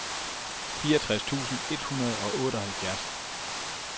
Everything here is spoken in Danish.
fireogtres tusind et hundrede og otteoghalvfjerds